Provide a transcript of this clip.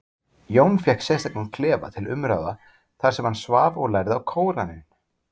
Jón fékk sérstakan klefa til umráða þar sem hann svaf og lærði á Kóraninn.